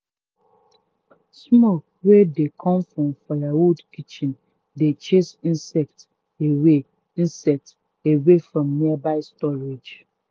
smoke wey dey come from firewood kitchen dey chase insect away insect away from nearby storage.